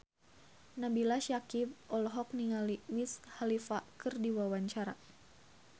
Nabila Syakieb olohok ningali Wiz Khalifa keur diwawancara